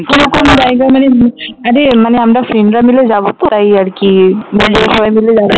কোনো কোনো জায়গা হ্যাঁ রে আমরা friend রা মিলে যাবো তো তাই আরকি বন্ধুরা সবাই মিলে যাবো